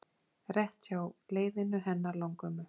Rétt hjá leiðinu hennar langömmu.